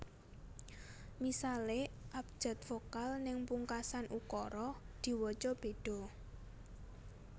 Misale abjad vokal ning pungkasan ukara diwaca bedha